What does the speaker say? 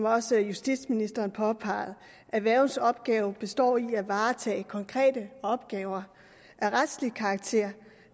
også justitsministeren påpegede at værgens opgave består i at varetage konkrete opgaver af retslig karakter